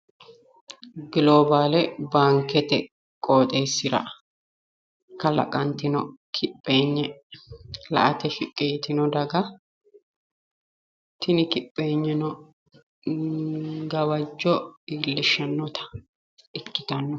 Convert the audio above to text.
Gloobaalete baanke qooxeessira kalaqqantino kipheenyi la'ate shiqqi yitino daga tini kipheenyino daga gawajjo iillishshannota ikkitanno.